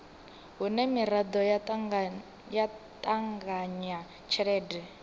hune miraḓo ya ṱanganya tshelede